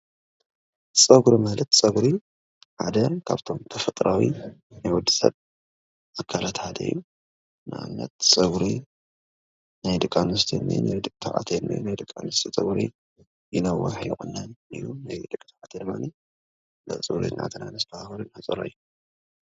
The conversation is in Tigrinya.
ፀጉሪ ማለት ፀጉሪ ሓድ ካብቶም ተፈጥራዊ ናይ ወዲ ስብ ኣካላት ሓደ እዩ፡፡ ንኣብነት ፀጉሪ ናይ ደቂ ኣንስትዮ ካብ ናይ ደቂ ተባዕትዮን ፀጉሪ ይነውሕ ይቁነን እዩ፡፡ ናይ ደቂ ተባዕትዮ ድማ ናብ ፀጉሪ ቤት እናእተና እነሕፅሮ እዩ ።